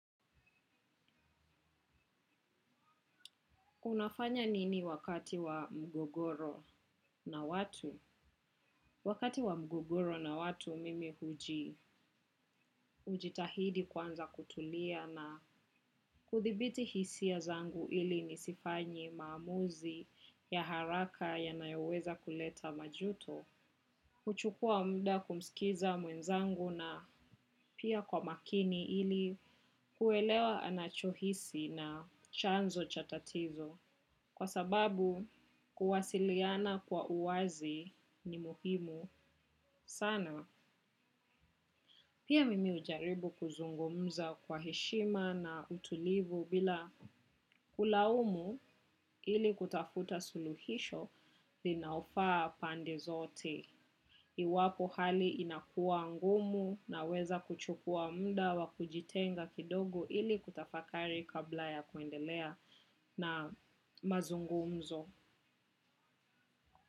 Unafanya nini wakati wa mgogoro na watu? Wakati wa mgogoro na watu mimi huji hujitahidi kwanza na kutulia na kudhibiti hisia zangu ili nisifanye maamuzi ya haraka yanayoweza kuleta majuto. Kuchukua mda kumsikiza mwenzangu na pia kwa makini ili kuelewa anachohisi na chanzo cha tatizo. Kwa sababu kuwasiliana kwa uwazi ni muhimu sana. Pia mimi hujaribu kuzungumza kwa heshima na utulivu bila kulaumu ili kutafuta suluhisho linaofaa pande zote. Iwapo hali inakua ngumu na weza kuchukua mda wa kujitenga kidogo ili kutafakari kabla ya kuendelea na mazungumzo.